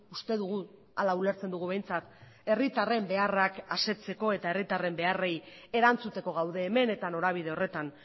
uste dugu hala ulertzen dugu behintzat herritarren beharrak asetzeko eta herritarren beharrei erantzuteko gaude hemen eta norabide horretan